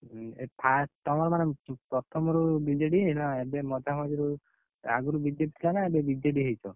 ହୁଁ ଏଇ first ତମର ମାନେ ପ୍ରଥମରୁ BJD ନା ଏବେ ମଝା ମଝିରୁ, ଆଗୁରୁ BJP ଥିଲା ନା ଏବେ BJD ହେଇଛ?